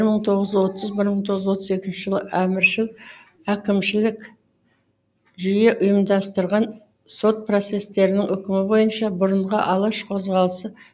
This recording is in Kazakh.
бір мың тоғыз жүз отыз бір мың тоғыз жүз отыз екінші жылы әміршіл әкімшілік жүйе ұйымдастырған сот процестерінің үкімі бойынша бұрынғы алаш қозғалысы